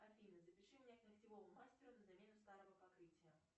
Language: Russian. афина запиши меня к ногтевому мастеру на замену старого покрытия